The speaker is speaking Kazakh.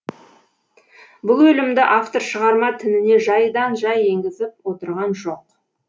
бұл өлімді автор шығарма тініне жайдан жай енгізіп отырған жоқ